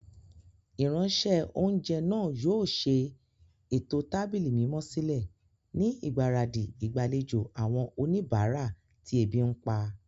Ìránṣẹ́-oúnjẹ náà yóò ṣe ètò tábìlì mímọ́ sílẹ̀ ni ìgbáradì ìgbàlejò àwọn oníbàárà tí ebi ń pa.